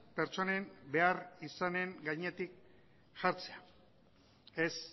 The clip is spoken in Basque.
pertsonen behar izanen gainetik jartzea ez